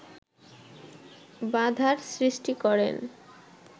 বাধার সৃষ্টি করেন